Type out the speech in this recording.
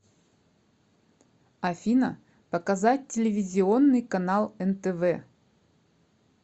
афина показать телевизионный канал нтв